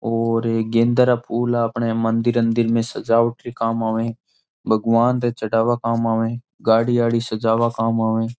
और एक गेंदा न फूल अपने मंदिर में सजावट के काम आवे भगवान के चढ़ावा के काम आवे गाड़ी सजावा काम आवे।